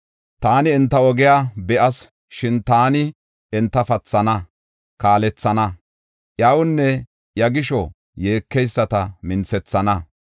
Taani enta ogiya be7as; shin taani enta pathana, kaalethana; iyawunne iya gisho yeekeyisata minthethana.